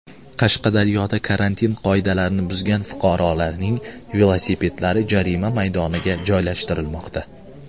Qashqadaryoda karantin qoidalarini buzgan fuqarolarning velosipedlari jarima maydoniga joylashtirilmoqda.